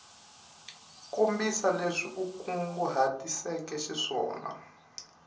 kombisa leswi u kunguhatiseke xiswona